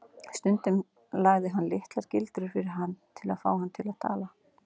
Stundum lagði hann litlar gildrur fyrir hann til að fá hann til að tala.